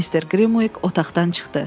Mister Grimuiq otaqdan çıxdı.